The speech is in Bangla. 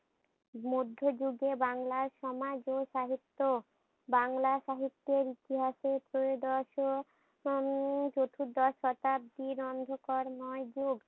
মধ্য যুগের বাংলার সমাজ ও সাহিত্য। বাংলা সাহিত্যের ইতিহাসে ত্রয়োদশ ও উম চতুর্দশ শতাব্দীর অন্ধকারময় যুগ